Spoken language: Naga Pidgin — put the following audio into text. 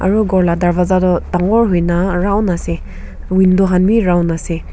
aru ghor la darvaza toh dangor hoina round ase window khan bi round ase.